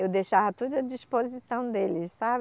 Eu deixava tudo à disposição deles, sabe?